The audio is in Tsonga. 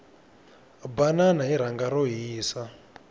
banana hi rhanga ro hisa